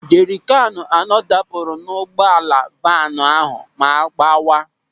Jerikánù anọ dapụrụ n'ụgbọala vaanu ahụ ma gbawa.